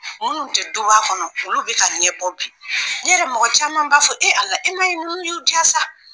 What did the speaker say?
Minnu tɛ duba kɔnɔ olu bɛ ka ɲɛbɔ bi ne yɛrɛ mɔgɔ caman b'a fɔ e Ala e m'a ye ninnu y'u diya sa